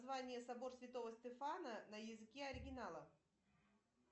название собор святого стефана на языке оригинала